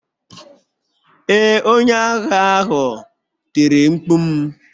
Ee, onye ahịa ahụ tiri mkpu m.